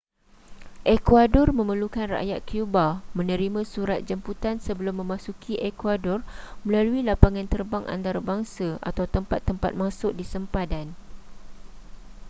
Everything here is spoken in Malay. ecuador memerlukan rakyat cuba menerima surat jemputan sebelum memasuki ecuador melalui lapangan terbang antarabangsa atau tempat-tempat masuk di sempadan